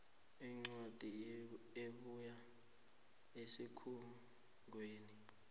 incwadi ebuya esikhungweni